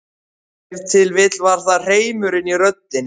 Ef til vill var það hreimurinn í röddinni.